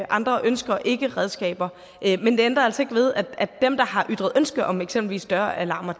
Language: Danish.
andre ønsker ikke redskaber men det ændrer altså ikke ved at dem der har ytret ønske om eksempelvis større alarmer